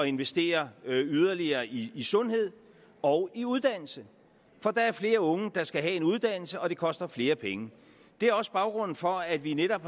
investere yderligere i sundhed og i uddannelse for der er flere unge der skal have en uddannelse og det koster flere penge det er også baggrunden for at vi netop